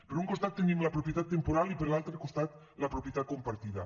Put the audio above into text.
per un costat tenim la propietat temporal i per l’altre costat la propietat compartida